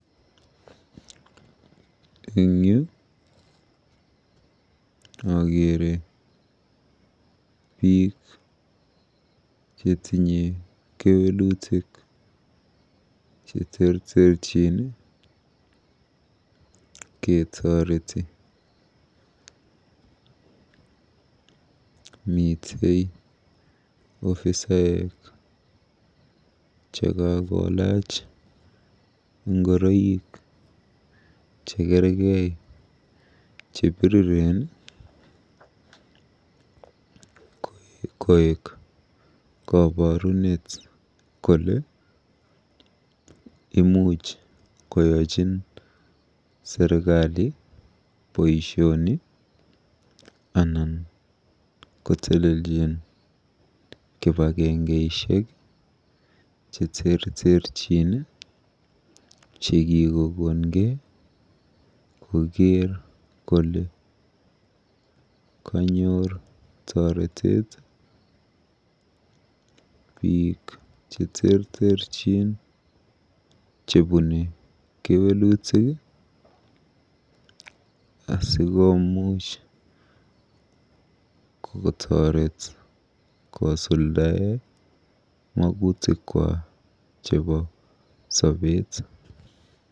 Eng yu akeere biik chetinye kewelutik cheterterchin ketoreti. Mitei ofisaek chekakolaach ngoroik chekerkei chepiriren koek koborunet kole imuch koyochin serikali boisioni anan koteleljin kipagengeishek cheterterchin chekikokongei koker kole kanyor toretet biik cheterterchin chebune kewelutik asikoomuch kotoret kosuldae magutikwak chebo sobeet.